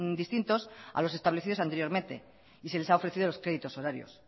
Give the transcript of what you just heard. distintos a los establecidos anteriormente y se les ha ofrecido los créditos horarios